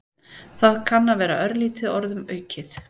Það kann að vera örlítið orðum aukið.